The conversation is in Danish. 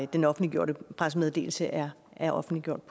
den offentliggjorte pressemeddelelse er er offentliggjort